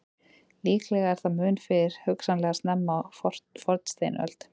Líklega er það mun fyrr, hugsanlega snemma á fornsteinöld.